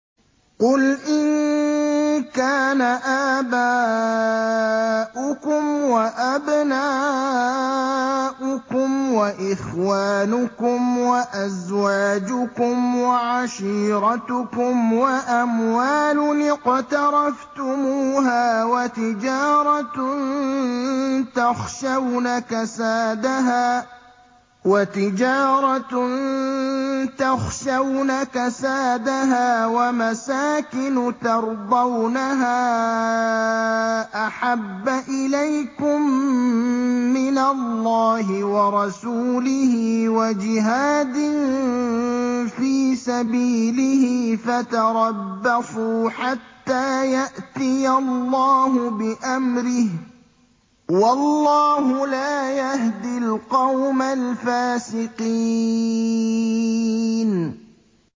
قُلْ إِن كَانَ آبَاؤُكُمْ وَأَبْنَاؤُكُمْ وَإِخْوَانُكُمْ وَأَزْوَاجُكُمْ وَعَشِيرَتُكُمْ وَأَمْوَالٌ اقْتَرَفْتُمُوهَا وَتِجَارَةٌ تَخْشَوْنَ كَسَادَهَا وَمَسَاكِنُ تَرْضَوْنَهَا أَحَبَّ إِلَيْكُم مِّنَ اللَّهِ وَرَسُولِهِ وَجِهَادٍ فِي سَبِيلِهِ فَتَرَبَّصُوا حَتَّىٰ يَأْتِيَ اللَّهُ بِأَمْرِهِ ۗ وَاللَّهُ لَا يَهْدِي الْقَوْمَ الْفَاسِقِينَ